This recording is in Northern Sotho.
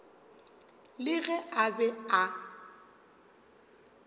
le ge a be a